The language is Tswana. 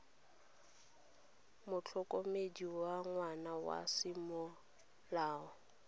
motlhokomedi wa ngwana wa semolao